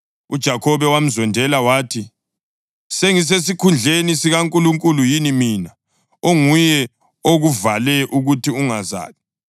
UJakhobe wamzondela wathi, “Sengisesikhundleni sikaNkulunkulu yini mina, onguye okuvale ukuthi ungazali?”